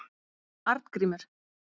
Arngrímur